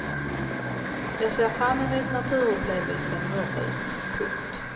Jag ser fram emot naturupplevelsen norrut. punkt